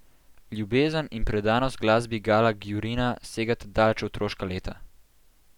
Ljubezen in predanost glasbi Gala Gjurina segata daleč v otroška leta.